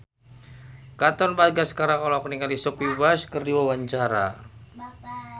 Katon Bagaskara olohok ningali Sophia Bush keur diwawancara